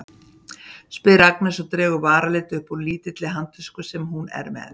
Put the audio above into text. spyr Agnes og dregur varalit upp úr lítilli handtösku sem hún er með.